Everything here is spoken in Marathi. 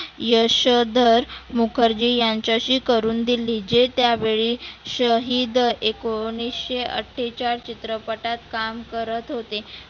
यशोधर मुखर्जी यांच्याशी करुण दिली जे त्या वेळी शहीद एकोणीसशे अठ्ठेचाळ चित्रपटात काम करत होते.